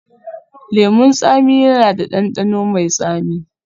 Lemun tsami yana da ɗanɗano mai tsami